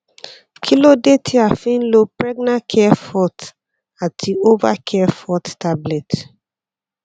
kilode ti a fi n lo pregnacare forte ati ovacare forte tablet